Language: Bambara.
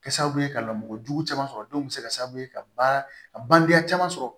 Kɛ sababu ye ka lamɔ kojugu caman sɔrɔ denw bɛ se ka sababu ye ka ba a bange caman sɔrɔ